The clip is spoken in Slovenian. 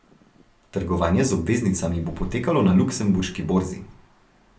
Trgovanje z obveznicami bo potekalo na luksemburški borzi.